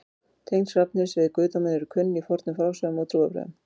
tengsl hrafnsins við guðdóminn eru kunn í fornum frásögnum og trúarbrögðum